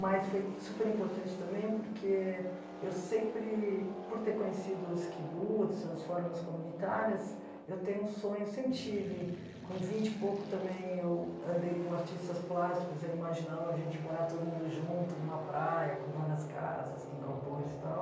Mas foi super importante também porque eu sempre, por ter conhecido os kibbutz, as formas comunitárias, eu tenho um sonho, sempre tive, com vinte e pouco também eu andei com artistas plásticos, eu imaginava a gente morar todo mundo junto numa praia, com várias casas, com galpões e tal.